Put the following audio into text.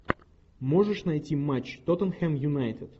можешь найти матч тоттенхэм юнайтед